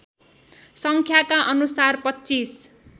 सङ्ख्यका अनुसार २५